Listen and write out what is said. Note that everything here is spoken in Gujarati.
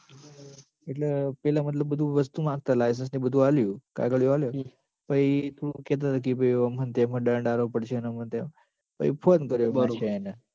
એટલ પેલા મતલબ બધું વસ્તુ માગતા license ને બધું આલ્યું કાગળિયાં આલ્યા પસી થોડું કે અજી ભાઈ ઓમ હ ન તેમ હ દંડ આલવો પડશે આંમ ન તેમ પછી phone કર્યો બાદશાહે એન